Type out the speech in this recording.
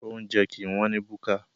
Oúnjẹ kìí wọ́n ní búkà.